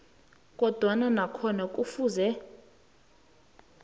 kodwana nakhona kufuze